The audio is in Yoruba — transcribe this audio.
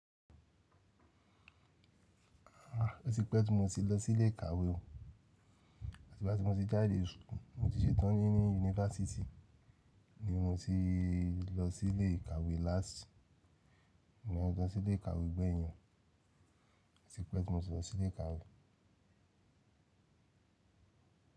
Ah, ó ti pẹ́ tí mo ti lọ sí ilé ìkàwé o. Àti igba ti mo ti jádé school, mo ti ṣetán ní ní yunifásítì ni mo ti lọ sí ilé ìkàwé lásìkò. Ìgbà wo ni mo ti lọ sí ilé ìkàwé gbẹ̀yìn, ó tí pẹ́ tí mo ti lọ sí ilé ìkàwé.